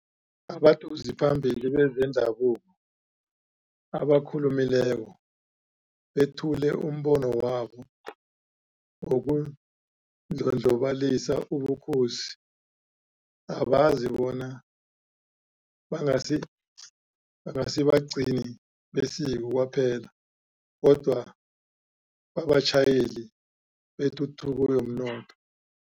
Abadosiphambili bezendabuko abakhulumileko bethule umbono wabo wokundlondlobalisa ubukhosi, abazi bona bangasi bangasibagcini besiko kwaphela kodwana babatjhayeli betuthuko yomnotho.